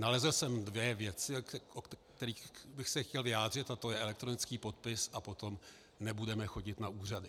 Nalezl jsem dvě věci, o kterých bych se chtěl vyjádřit, a to je elektronický podpis a potom nebudeme chodit na úřady.